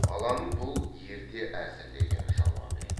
баланың бұл ерте әзірлеген жауабы еді